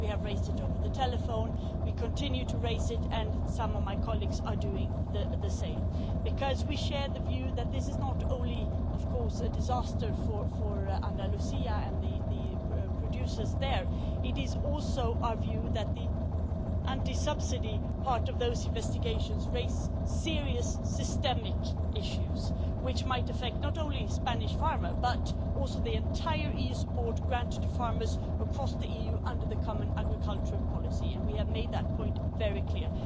We have raised it over the telephone. We continue to raise it, and some of my colleagues are doing the same because we share the view not only that this is a disaster for Andalucía, and the producers there, but also that the anti subsidy part of those investigations raises serious systemic issues, which might affect not only Spanish farmers but also the entire EU support granted to farmers across the EU under the common agricultural policy. We have made that point, very clear.